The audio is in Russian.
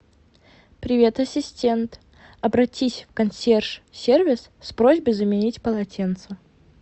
привет ассистент обратись в консьерж сервис с просьбой заменить полотенце